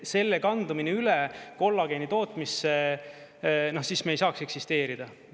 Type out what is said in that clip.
Selle kandumine üle kollageeni tootmisse, siis me ei saaks eksisteerida.